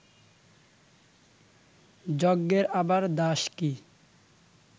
যজ্ঞের আবার দাস কি